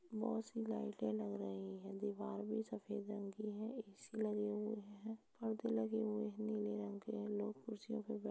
बहुत सी लाइटें लग रही हैं। दीवार भी सफेद रंग की है। एसी लगे हुए हैं। परदे लगे हुए हैं नीले रंग के लोग कुर्सियों पे बै --